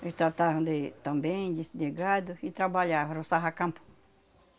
Eles tratavam de também des de gado e trabalhavam, roçava campo.